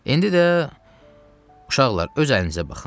İndi də uşaqlar, öz əlinizə baxın.